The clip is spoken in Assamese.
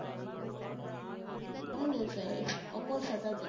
নাই নাই sir, অকল saturday